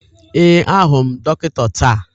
Ee, ahụrụ m dọkịta taa